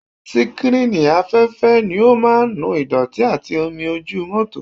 Síkrínì afẹ́fẹ́ ni ó máa ń nu ìdọ̀tí àti omi ojú mọ́tò